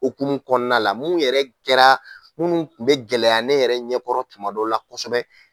Hokumun kɔnɔna la munnu yɛrɛ kɛra munnu tun bɛ gɛlɛya ne yɛrɛ ɲɛkɔrɔ tumadon la kosɛbɛ.